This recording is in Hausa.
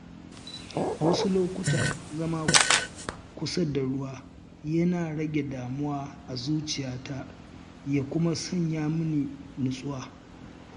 A wasu lokuta, zama kusa da ruwa yana rage damuwa a zuciyata ya kuma sanya mini nutsuwa.